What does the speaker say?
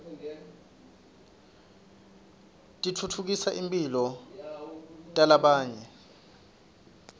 titfutfukisa timphilo talabanye